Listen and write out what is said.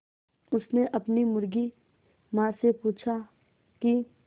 उसने अपनी मुर्गी माँ से पूछा की